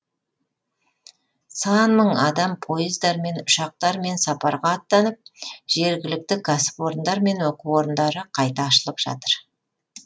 сан мың адам пойыздармен ұшақтармен сапарға аттанып жергілікті кәсіпорындар мен оқу орындары қайта ашылып жатыр